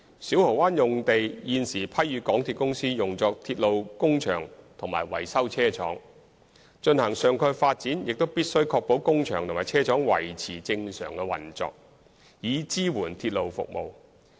小蠔灣用地現時批予港鐵公司用作鐵路工場和維修車廠，進行上蓋發展也必須確保工場和車廠維持正常運作，以支援鐵路服務。